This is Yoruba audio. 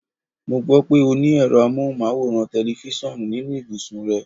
Mo gbó̩ pé o ní è̩ro̩ amóhùnmáwòrán/te̩lifís̩àn nínu yàrá ìbùsùn rè̩.